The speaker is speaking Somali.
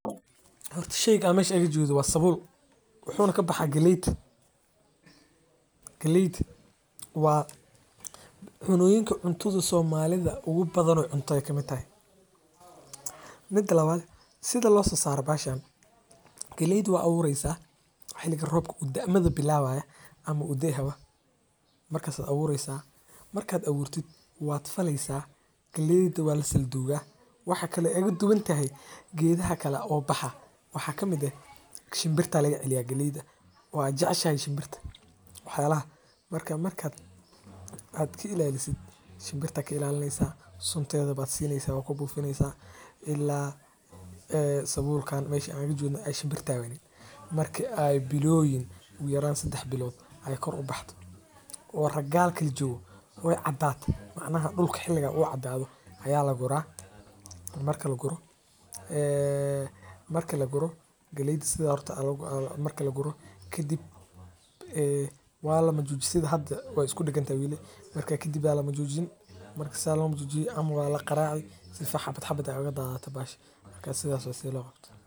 Horta sheeygan meeshan igajedo waa sabuul wuxuu na ka baxa galeed. Galeed waa cunooyinka cuntoodo Soomaalida ugu badan oo cuntooyin kamitaahay mid lawad sida loo sasaaro baashaan, galeed waa awuureysa xiliga roobka ud dhamma bilaabaya ama u day hawa marka aad awuureysa marka aad abuurteyd waa falaysaa galeed waa la sal duuga waxaa kale ee dubin ta hay geedaha kala oo baxa waxaa ka mid ah shimbirta laga celiyaa galeeda waa jecshay shimbirta. Waxyaalaha marka markaad aad kiilaalisid shimbirta kiilaalineysaa, suntoyda baad siineysa oo ku buufineysaa ilaa sabuulkaan meeshan juubna ay shimbirta wayne. Markii ay bilood u yaraan saddex bilood ayu kor u baxdo oo raggaal keli jawa ay cadaad. Macna wuxuu xiliga u cadaado ayaa la gurra marka lagugu gurro. Marka lagugu gurro galeedsi aorta marka lagugu gurro. Ki dib waa la majuujin sida hadda waa isku dhigantay wiile. Marka ki dib eey la majuujin marka isaga la majuujin ama waala qaraacid sidfa xabada xabada ay uga daataan baahis ka sida su'aala loo qabto.